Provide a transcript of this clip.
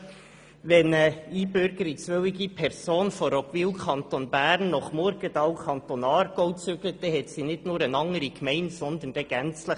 Wenn eine einbürgerungswillige Person von Roggwil, Kanton Bern, nach Murgenthal, Kanton Aargau, zieht, dann lebt sie nicht nur in einer anderen Gemeinde, sondern in einem anderen Kanton.